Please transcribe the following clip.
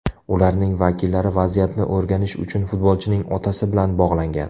Ularning vakillari vaziyatni o‘rganish uchun futbolchining otasi bilan bog‘langan.